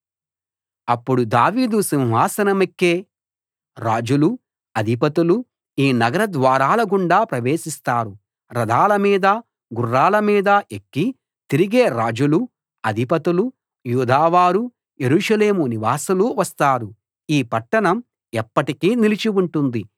అప్పుడు దావీదు సింహాసనమెక్కే రాజులూ అధిపతులూ ఈ నగర ద్వారాలగుండా ప్రవేశిస్తారు రథాల మీదా గుర్రాల మీదా ఎక్కి తిరిగే రాజులూ అధిపతులూ యూదావారూ యెరూషలేము నివాసులూ వస్తారు ఈ పట్టణం ఎప్పటికీ నిలిచి ఉంటుంది